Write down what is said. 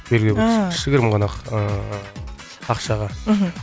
белгілі бір ыыы кішігірім ғана ақ ыыы ақшаға мхм